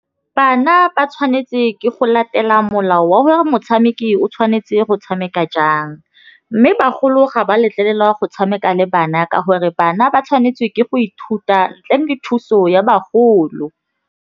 Bana ba tšhwanetse ke go latela molao wa gore motšhameki o tšhwanetse go tšhameka jang. Mme bagolo ga ba letlelelwa go tšhameka le bana ka gore bana ba tšhwanetse ke go ithuta ntle le thuso ya bagolo.